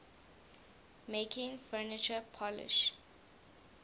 making furniture polish